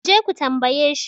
ku je ku tambaye shi?